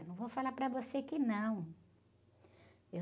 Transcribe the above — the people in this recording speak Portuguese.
Não vou falar para você que não.